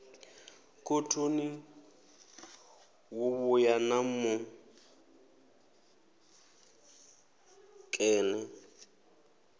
khothoni wo vhuya na muṅene